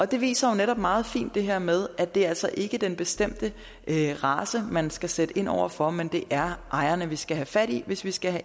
det viser jo netop meget fint det her med at det altså ikke er den bestemte race man skal sætte ind over for men at det er ejerne vi skal have fat i hvis vi skal